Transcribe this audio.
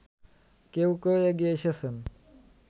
কেউ কেউ এগিয়ে এসেছেন